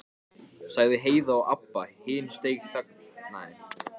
Svanasöngur Móra gegn Svönunum?